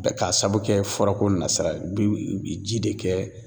Bɛ k'a sabu kɛ fura ko nasira ye biw ji de kɛ